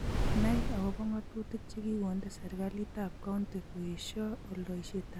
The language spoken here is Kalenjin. Nai akobo ng'atutik che kikonde serikalitab County koesho oldoishetab bandek che nyolilen si mabiit rubet